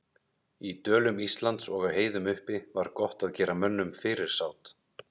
Í dölum Íslands og á heiðum uppi var gott að gera mönnum fyrirsát.